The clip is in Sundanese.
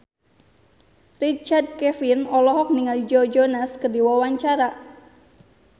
Richard Kevin olohok ningali Joe Jonas keur diwawancara